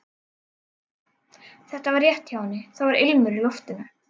Þetta var rétt hjá henni, það var ilmur í loftinu.